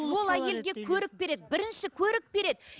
ол әйелге көрік береді бірінші көрік береді